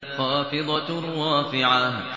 خَافِضَةٌ رَّافِعَةٌ